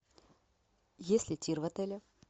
есть ли тир в отеле